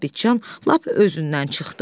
Sabitçan lap özündən çıxdı.